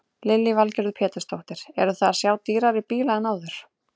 Lillý Valgerður Pétursdóttir: Eruð þið að sjá dýrari bíla en áður?